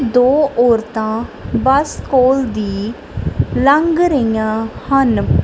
ਦੋ ਔਰਤਾਂ ਬੱਸ ਕੋਲ ਦੀ ਲੰਘ ਰਹੀਆਂ ਹਨ।